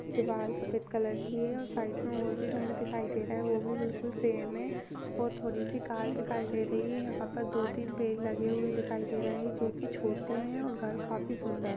दीवाल सफेद कलर की है और साइड में और भी घर दिखाई दे रहे हैं वह भी बिल्कुल सेम है और थोड़ी सी कार दिखाई दे रही है यहा पर दो-तीन पेड़ लगे हुए दिखाई दे रहे हैं जो कि छोटे हैं और घर काफी सुंदर--